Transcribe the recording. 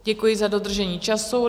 Děkuji za dodržení času.